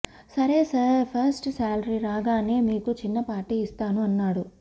సరే sir first సాలరీరాగానే మీకు చిన్న పార్టీ ఇస్తాను అన్నాడు